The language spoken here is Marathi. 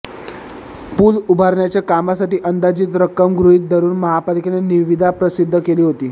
पूल उभारण्याच्या कामासाठी अंदाजित रक्कम गृहित धरून महापालिकेने निविदा प्रसिद्ध केली होती